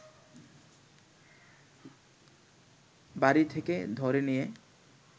বাড়ি থেকে ধরে নিয়ে